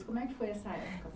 Como é que foi essa época?